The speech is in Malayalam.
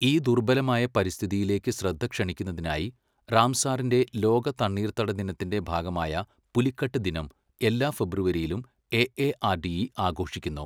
ഈ ദുർബലമായ പരിസ്ഥിതിയിലേക്ക് ശ്രദ്ധ ക്ഷണിക്കുന്നതിനായി റാംസാറിന്റെ ലോക തണ്ണീർത്തട ദിനത്തിന്റെ ഭാഗമായ പുലിക്കട്ട് ദിനം എല്ലാ ഫെബ്രുവരിയിലും എഎആർഡിഇ ആഘോഷിക്കുന്നു.